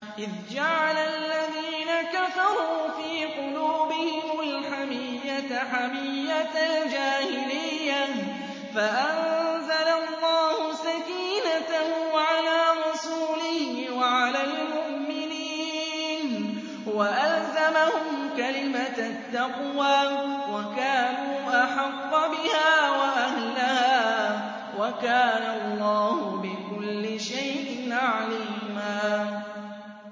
إِذْ جَعَلَ الَّذِينَ كَفَرُوا فِي قُلُوبِهِمُ الْحَمِيَّةَ حَمِيَّةَ الْجَاهِلِيَّةِ فَأَنزَلَ اللَّهُ سَكِينَتَهُ عَلَىٰ رَسُولِهِ وَعَلَى الْمُؤْمِنِينَ وَأَلْزَمَهُمْ كَلِمَةَ التَّقْوَىٰ وَكَانُوا أَحَقَّ بِهَا وَأَهْلَهَا ۚ وَكَانَ اللَّهُ بِكُلِّ شَيْءٍ عَلِيمًا